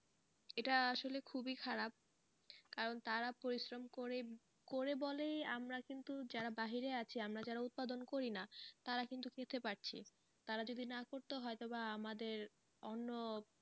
এটা আসলে খুবই খারাপ কারণ তারা পরিশ্রম করে, করে বলেই আমরা কিন্তু যারা বাহিরে আছি আমরা যারা উৎপাদন করি না তারা কিন্তু খেতে পারছি তারা যদি না করতো হয়তো বা আমাদের অন্য,